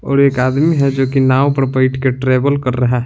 और एक आदमी है जो कि नाव पर बैठ के ट्रेवल कर रहा है।